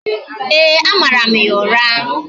Ee, a mara m ya ụra